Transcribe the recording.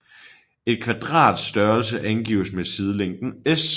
Et kvadrats størrelse angives med sidelængden s